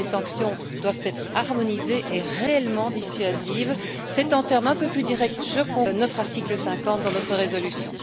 Les sanctions doivent être harmonisées et réellement dissuasives, c'est en termes un peu plus directs notre article 50 dans notre résolution.